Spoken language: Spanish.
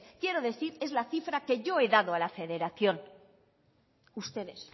quiero decir es la cifra que yo he dado a la federación ustedes